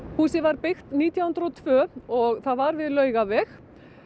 húsið var byggt nítján hundruð og tvö og það var við Laugaveg